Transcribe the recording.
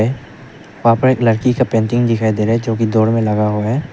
वहां पर एक लड़की का पेंटिंग दिखाई दे रहा है जो की डोर में लगा हुआ है।